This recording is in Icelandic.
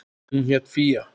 Hún hét Fía.